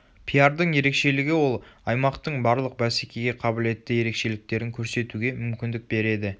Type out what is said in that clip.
пиардың ерекшелігі ол аймақтың барлық бәсекеге қабілетті ерекшеліктерін көрсетуге мүмкіндік береді